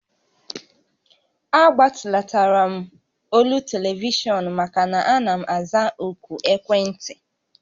A gbatulatara m olu telivishọn maka na ana m aza òkù ekwentị